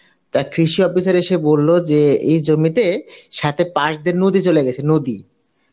তা কৃষি অফিসার এসে বলল এই জমিতে সাথে পাশ দিয়ে নদী চলে গেছে নদী